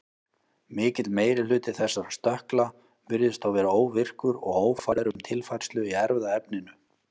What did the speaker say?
Mikill meiri hluti þessara stökkla virðist þó vera óvirkur og ófær um tilfærslu í erfðaefninu.